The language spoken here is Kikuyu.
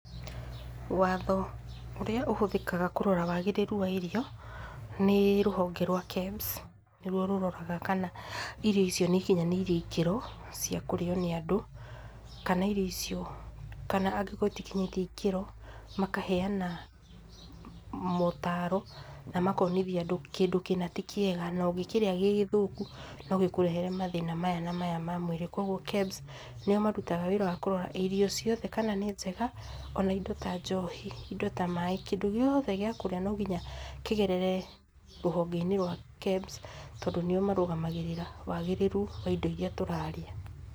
Watho ũrĩa ũhũthĩkaga kũrora wagĩrĩru wa irio nĩ rũhonge rwa KEBS, nĩ ruo rũroraga kana irio icio nĩ ikinyanĩirie ikĩro cia kũrĩo nĩ andũ; kana irio icio, kana angĩkorwo itikinyĩtie ikĩro, makaheana mootaro na makonithia andũ kĩndũ kĩna ti kĩega, na ũngĩkĩrĩa gĩ gĩthũku, no gĩkũrehere mathĩna maya na maya ma mwĩrĩ. Kwoguo KEBS nĩo marutaga wĩra wa kũrora irio ciothe kana nĩ njega, o na indo ta njohi, indo ta maaĩ, kĩndũ gĩothe gĩa kũrĩa no nginya kĩgerere rũhonge-inĩ rwa KEBS tondũ nĩo marũgamagĩrĩra wagĩrĩru wa indo iria tũrarĩa.